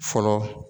Fɔlɔ